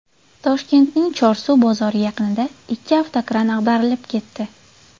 Toshkentning Chorsu bozori yaqinida ikki avtokran ag‘darilib ketdi.